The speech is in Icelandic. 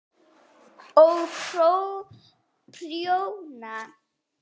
Og prjóna.